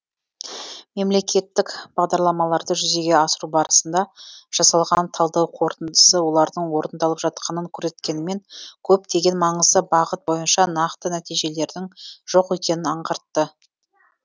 мемлекеттік бағдарламаларды жүзеге асыру барысында жасалған талдау қорытындысы олардың орындалып жатқанын көрсеткенімен көптеген маңызды бағыт бойынша нақты нәтижелердің жоқ екенін аңғартты